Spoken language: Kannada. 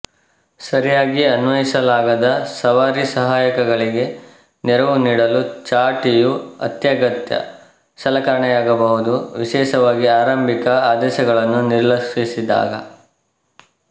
ಸರಿಯಾಗಿ ಅನ್ವಯಿಸಲಾದಾಗ ಸವಾರಿ ಸಹಾಯಕಗಳಿಗೆ ನೆರವು ನೀಡಲು ಚಾಟಿಯು ಅತ್ಯಗತ್ಯ ಸಲಕರಣೆಯಾಗಬಹುದು ವಿಶೇಷವಾಗಿ ಆರಂಭಿಕ ಆದೇಶಗಳನ್ನು ನಿರ್ಲಕ್ಷಿಸಿದಾಗ